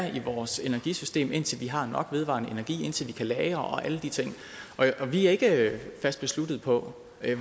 i vores energisystem indtil vi har nok vedvarende energi indtil vi kan lagre og alle de ting vi er ikke fast besluttet på